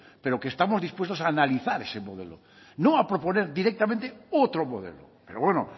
pero que estamos dispuestos a analizar ese modelo no a proponer directamente otro modelo pero bueno